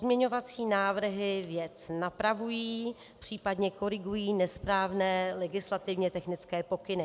Pozměňovací návrhy věc napravují, případně korigují nesprávné legislativně technické pokyny.